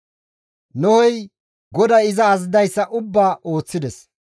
Nohey GODAY iza azazidayssa ubbaa ooththides.